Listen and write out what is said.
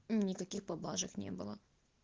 никаких поблажек не было